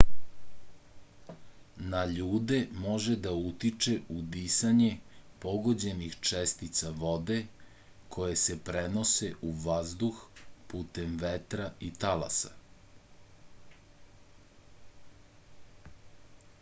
na ljude može da utiče udisanje pogođenih čestica vode koje se prenose u vazduh putem vetra i talasa